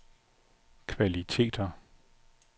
kvaliteter